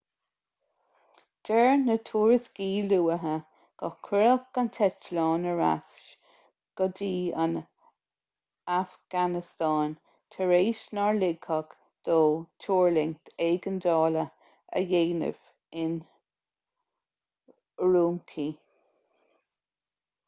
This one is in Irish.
deir na tuairiscí luatha gur cuireadh an t-eitleán ar ais go dtí an afganastáin tar éis nár ligeadh dó tuirlingt éigeandála a dhéanamh in ürümqi